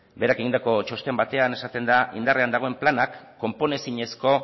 berak egindako txosten batean esaten da indarrean dagoen planak konponezinezko